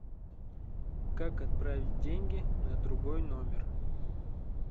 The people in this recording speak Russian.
как отправить деньги на другой номер